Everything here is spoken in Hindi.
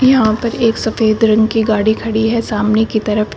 यहां पर एक सफेद रंग की गाड़ी खड़ी है सामने की तरफ --